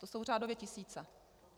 To jsou řádově tisíce.